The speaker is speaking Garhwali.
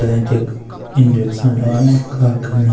तदई त्यख इंजेक्शन लगाने का कन्ने।